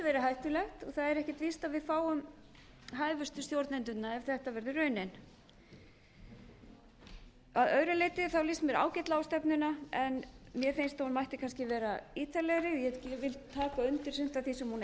er ekki víst að við fáum hæfustu stjórnendurna ef þetta verður raunin að öðru leyti líst mér ágætlega á stefnuna en mér finnst að hún mætti kannski vera ítarlegri ég vil taka undir sumt